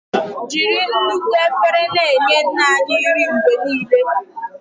Jiri nnukwu efere na-enye Nna anyị nri mgbe niile.